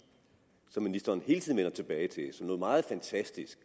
som ministeren hele tiden vender tilbage til som noget meget fantastisk